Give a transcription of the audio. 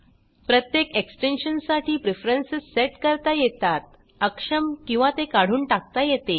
प्रत्येक एक्सटेन्शन साठी preference set करता येतात अक्षम किंवा ते काढून टाकता येते